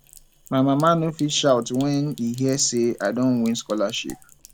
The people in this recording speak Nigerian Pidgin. my papa no fit shout wen e hear sey i don win scholarship